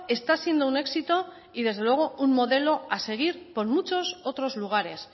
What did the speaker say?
está siendo un éxito y desde luego un modelo a seguir por muchos otros lugares